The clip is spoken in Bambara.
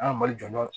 An ka mali jɔ